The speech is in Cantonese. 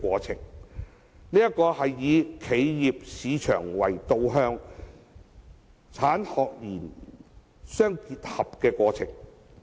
這是以企業市場為導向，產學研互相結合的過程。